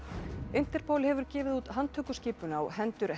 Interpol hefur gefið út handtökuskipun á hendur